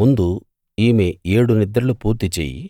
ముందు ఈమె ఏడు నిద్రలు పూర్తి చెయ్యి